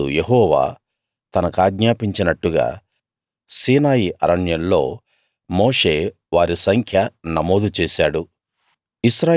అప్పుడు యెహోవా తనకాజ్ఞాపించినట్టుగా సీనాయి అరణ్యంలో మోషే వారి సంఖ్య నమోదు చేశాడు